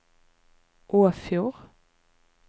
Åfjord